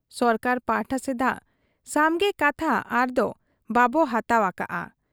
ᱥᱚᱨᱠᱟᱨ ᱯᱟᱦᱴᱟ ᱥᱮᱫᱟᱜ ᱥᱟᱢᱜᱮ ᱠᱟᱛᱷᱟ ᱟᱨᱫᱚ ᱵᱟᱵᱚ ᱦᱟᱛᱟᱣ ᱟᱠᱟᱜ ᱟ ᱾